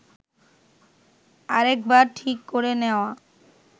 আরেকবার ঠিক করে নেওয়া